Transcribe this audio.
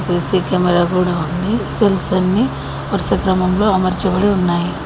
CC camera కూడా ఉంది cells అన్ని వరస క్రమంలో అమర్చబడి ఉన్నాయి.